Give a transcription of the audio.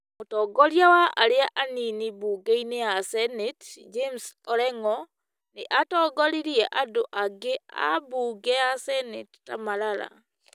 mũtongoria wa arĩa anini mbunge-inĩ ya seneti, James Orengo nĩatongoririe andũ angĩ a mbunge ya seneti ta Malala,